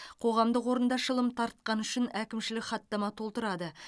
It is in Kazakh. қоғамдық орында шылым тартқаны үшін әкімшілік хаттама толтырады